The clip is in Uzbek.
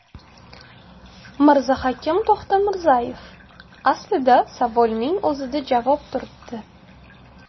Mirzahakim To‘xtamirzayev: Aslida savolning o‘zida javob turibdi.